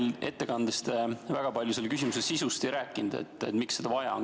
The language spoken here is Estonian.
Oma ettekandes te väga palju selle küsimuse sisust ei rääkinud, miks seda vaja on.